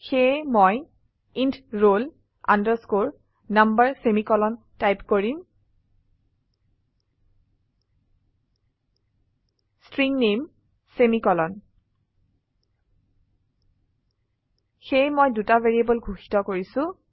সেয়ে মই int roll underscore number semicolon type কৰিম ষ্ট্ৰিং নামে সেমিকোলন সেয়ে মই দুটা ভ্যাৰিয়েবল ঘোষিত কৰিছো